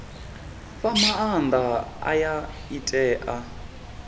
fha maanda aya i tea